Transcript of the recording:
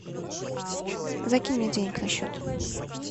закинь мне денег на счет